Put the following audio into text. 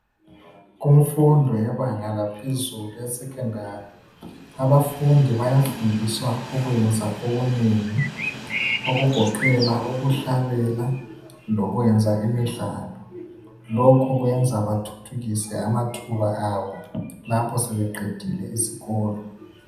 Kumfundo yebanga laphezulu leSekhondari bayafundiswa okunengi okugoqela ukhlabela lokwenza imidlalo .Lokhu kwenzela ukuthuthukisa amathuba abo lapho sebeqedile isikolo.